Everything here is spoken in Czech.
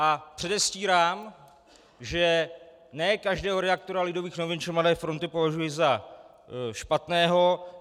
A předestírám, že ne každého redaktora Lidových novin či Mladé fronty považuji za špatného.